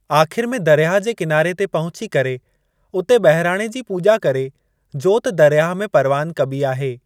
आख़िरि में दरियाह जे किनारे ते पहुची करे उते बहिराणे जी पूॼा करे जोति दरियाह में परवानु कबी आहे।